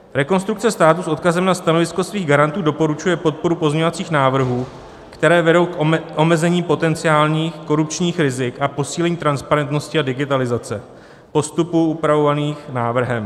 Rekonstrukce státu s odkazem na stanovisko svých garantů doporučuje podporu pozměňovacích návrhů, které vedou k omezení potenciálních korupčních rizik a posílení transparentnosti a digitalizace postupů upravovaných návrhem.